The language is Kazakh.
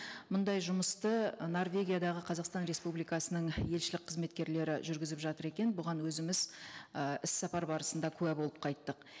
мұндай жұмысты норвегиядағы қазақстан республикасының елшілік қызметкерлері жүргізіп жатыр екен бұған өзіміз і іссапар барысында куә болып қайттық